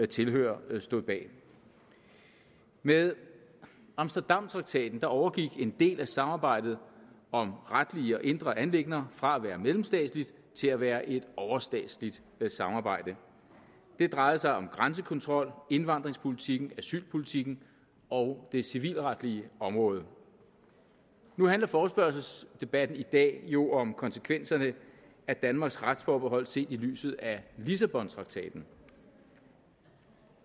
tilhører stod bag med amsterdamtraktaten overgik en del af samarbejdet om retlige og indre anliggender fra at være mellemstatsligt til at være et overstatsligt samarbejde det drejede sig om grænsekontrol indvandringspolitik asylpolitik og det civilretlige område nu handler forespørgselsdebatten i dag jo om konsekvenserne af danmarks retsforbehold set i lyset af lissabontraktaten